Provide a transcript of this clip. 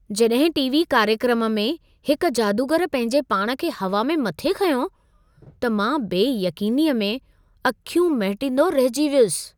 जॾहिं टी.वी. कार्यक्रम में हिक जादूगर पंहिंजे पाण खे हवा में मथे खंयो, त मां बेयक़ीनीअ में अखियूं महिटंदो रहिजी वियुसि।